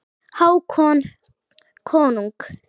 Hákon konung.